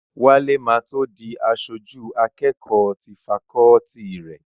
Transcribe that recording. Wálé ma tó di aṣojú akẹ́kọ̀ọ́ ti fakọọti rẹ̀